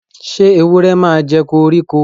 sé ewúrẹ màjẹ koriko?